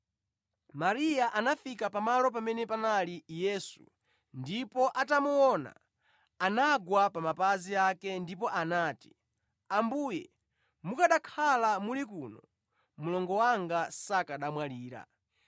Mariya anafika pamalo pamene panali Yesu ndipo atamuona, anagwa pa mapazi ake ndipo anati, “Ambuye mukanakhala muli kuno mlongo wanga sakanamwalira.”